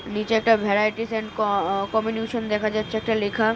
নিচে একটা varieties and uh communication দেখা যাচ্ছে একটা লেখা।